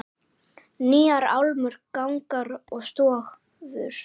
Nýjar álmur, gangar og stofur.